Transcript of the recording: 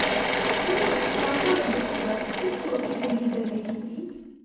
ਹੁਣੇ ਆਈ ਤਾਜਾ ਵੱਡੀ ਖਬਰ ਇਸ ਚੋਟੀ ਦੇ ਲੀਡਰ ਨੇ ਕੀਤੀ